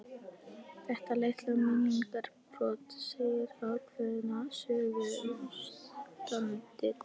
Þetta litla minningarbrot segir ákveðna sögu um ástandið.